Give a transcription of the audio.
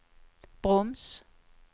broms